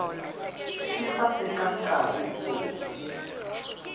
xi va eka nkarhi lowu